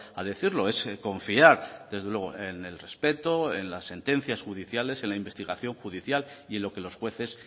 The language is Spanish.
a decirlo es confiar desde luego en el respeto en las sentencias judiciales en la investigación judicial y en lo que los jueces